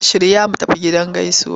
Shirya mu tafi gidan gaisuwa!